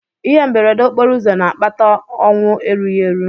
Ihe mberede okporoụzọ na-akpata ọnwụ erughị eru.